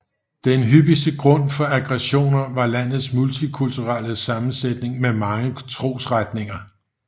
Den hyppigste grund for aggressioner var landets multikulturelle sammensætning med mange trosretninger